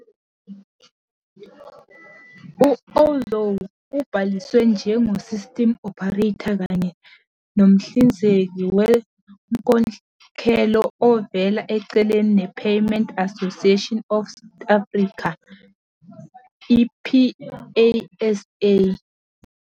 U-Ozow ubhaliswe njengo-Systems Operator kanye Nomhlinzeki Wenkokhelo Ovela eceleni ne-Payments Association of South Africa, "PASA".